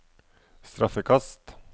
straffekast